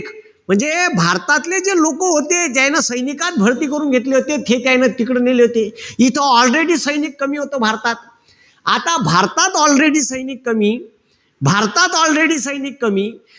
म्हणजे भारतातले जे लोकं होते ज्यायन सैनीकात भरती करून घेतले होते. ते काइन तिकडे नेले होते. तिथं already सैनिक कमी होतं भारतात. आता भारतात already सैनिक कमी. भारतात already सैनिक कमी.